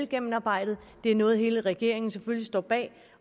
gennemarbejdet det er noget hele regeringen selvfølgelig står bag